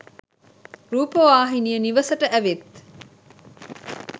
රූපවාහිනිය නිවසට ඇවිත්